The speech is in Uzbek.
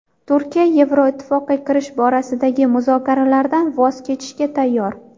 Turkiya Yevroittifoqqa kirish borasidagi muzokaralardan voz kechishga tayyor.